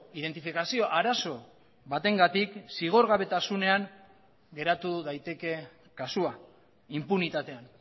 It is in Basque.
identifikazio arazo batengatik zigorgabetasunean geratu daiteke kasua inpunitatean